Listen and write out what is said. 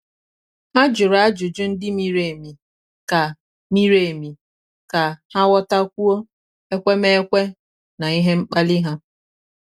há jụ̀rụ́ ájụ́jụ́ ndị miri emi kà miri emi kà há ghọ́tákwúọ́ ekwemekwe na ihe mkpali ha.